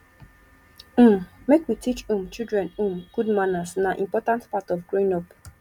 um make we teach um children um good manners na important part of growing up